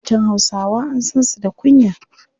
Matan Hausawa an san su da kunya.